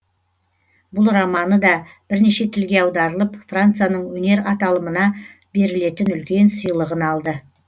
бұл романы да бірнеше тілге аударылып францияның өнер аталымына берілетін үлкен сыйлығын алды